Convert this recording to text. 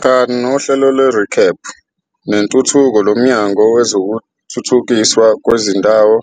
Kanti-ke nohlelo lwerecap nenthuthuko loMnyango wezokuThuthukiswa kwezindawo